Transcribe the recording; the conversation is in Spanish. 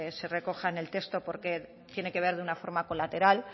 se recoja en el texto porque tiene que ver de una forma colateral